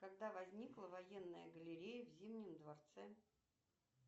когда возникла военная галерея в зимнем дворце